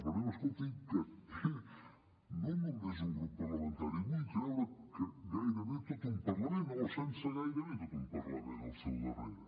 però escolti que té no només un grup parlamentari vull creure que gairebé tot un parlament o sense el gairebé tot un parlament al seu darrere